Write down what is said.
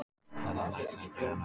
Hella, lækkaðu í græjunum.